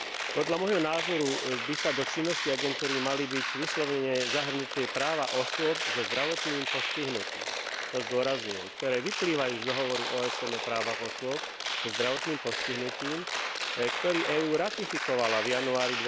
Podľa môjho názoru by sa do činnosti agentúry mali vyslovene zahrnúť práva osôb so zdravotným postihnutím, to zdôrazňujem, ktoré vyplývajú z Dohovoru OSN o právach osôb so zdravotným postihnutím, ktorý EÚ ratifikovala v januári